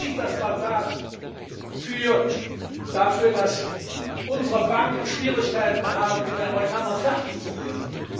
Er hat nicht das Mandat dafür, dass unsere Banken Schwierigkeiten haben, mit den Amerikanern fertig zu werden.